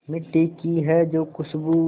मिट्टी की है जो खुशबू